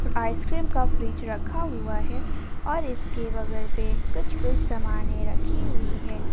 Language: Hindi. आइसस्क्रीम का फ्रिज रखा हुआ है और इसके बगल में कुछ कुछ सामने रखी हुई है।